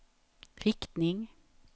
riktning